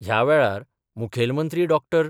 ह्या वेळार मुखेलमंत्री डॉ.